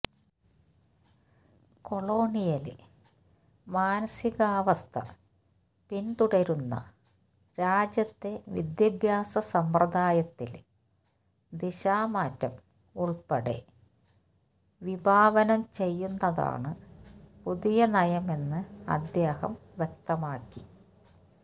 colonial മാനസികാവസ്ഥ പിന്തുടരുന്ന രാജ്യത്തെ വിദ്യാഭ്യാസ സമ്പ്രദായത്തില് ദിശാമാറ്റം ഉള്പ്പെടെ വിഭാവനം ചെയ്യുന്നതാണ് പുതിയ നയമെന്ന് അദ്ദേഹം വ്യക്തമാക്കി